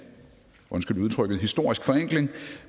historisk forenkling